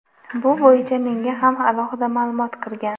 Bu bo‘yicha menga ham alohida ma’lumot kirgan.